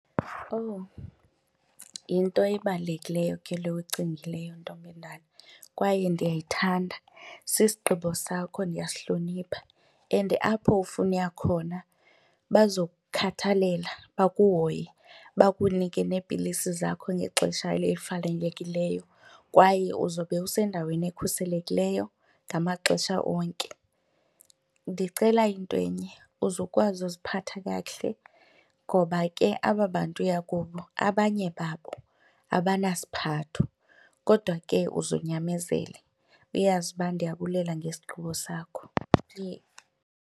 Owu, yinto ebalulekileyo ke le uyicingileyo ntombendala kwaye ndiyayithanda. Sisigqibo sakho, ndiyayihlonipha and apho ufuna uya khona bazokukhathalela bakuhoye bakunike neepilisi zakho ngexesha elifanelekileyo kwaye uzobe usendaweni ekhuselekileyo ngamaxesha onke. Ndicela into enye, uze ukwazi uziphatha kakuhle ngoba ke aba bantu uya kubo abanye babo abanasiphatho kodwa ke uzunyamezele uyazi uba ndiyabulela ngesigqibo sakho.